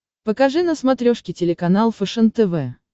покажи на смотрешке телеканал фэшен тв